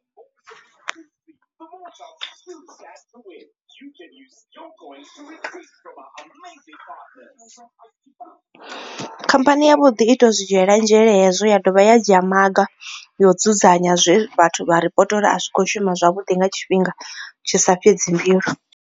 Khamphani yavhuḓi ito zwi dzhiela nzhele hezwo ya dovha ya dzhia maga yo dzudzanya zwe vhathu vha ripoto a kho shuma zwavhuḓi nga tshifhinga tshisa fhedzi mbilu.